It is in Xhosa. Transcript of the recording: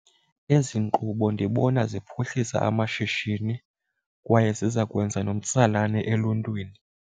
Ezi nkqubo ndibona ziphuhlisa amashishini kwaye ziza kwenza nomtsalane eluntwini.